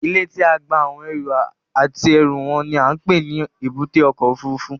Ilé tí à ń gba àwọn èrò àti ẹrú wọn ni à ń pè ní Èbúté ọkọ̀ Òfurufú